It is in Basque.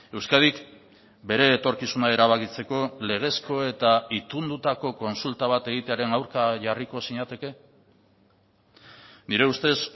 euskadik bere etorkizuna erabakitzeko legezko eta itundutako kontsulta bat egitearen aurka jarriko zinateke nire ustez